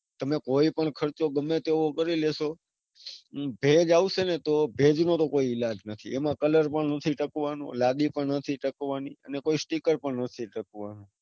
તમે ખર્ચો ગમે તેવો કરી લેશો. ભેજ આવશે ન તો ભેજ નો તો કોઈ ઈલાજ નથી એમાં colour પણ નથી ટકવાનો. લાદી પણ નથી ટકવાની કે કોઈ sticker પણ નથી ટકવાનો.